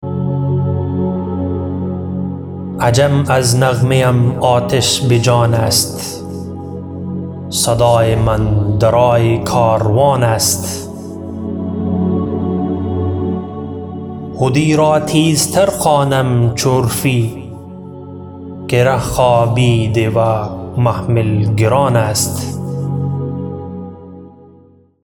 عجم از نغمه ام آتش بجان است صدای من درای کاروان است حدی را تیز تر خوانم چو عرفی که ره خوابیده و محمل گران است